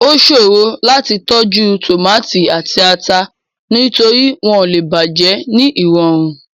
Ó ṣòro láti tọ́jú tòmátì àti ata, nítorí wọ́n lè bàjẹ́ ní ìrọ̀rùn.